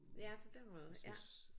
Ja på den måde ja